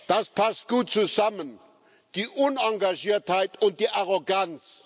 Das passt gut zusammen die Unengagiertheit und die Arroganz.